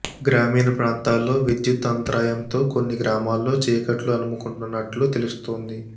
గ్రామీణ ప్రాంతాల్లో విద్యుత్ అంతరాయంతో కొన్ని గ్రామాల్లో చీకట్లు అలుముకున్నట్లు తెలుస్తోంది